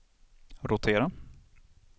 rotera